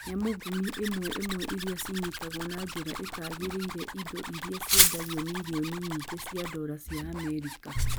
Nyamũngumĩ ĩmwe ĩmwe iria cinyitagũo na njĩra ĩtagĩrĩireindo iria ciendagio mirioni nyingĩ cia dola cia Amerika.